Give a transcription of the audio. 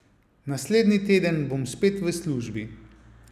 Naslednji teden bom spet v službi.